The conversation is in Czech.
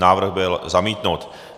Návrh byl zamítnut.